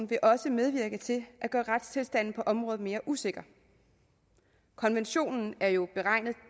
vil også medvirke til at gøre retstilstanden på området mere usikker konventionen er jo beregnet